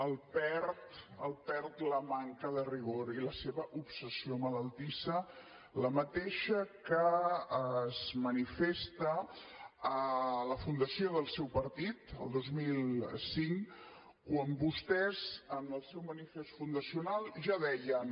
el perd el perd la manca de rigor i la seva obsessió malaltissa la mateixa que es manifesta a la fundació del seu partit el dos mil cinc quan vostès en el seu manifest fundacional ja deien